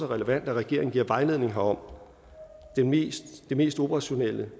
relevant at regeringen giver vejledning herom det mest mest operationelle